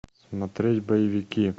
смотреть боевики